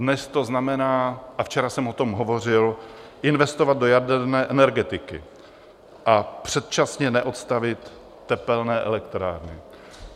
Dnes to znamená - a včera jsem o tom hovořil - investovat do jaderné energetiky a předčasně neodstavit tepelné elektrárny.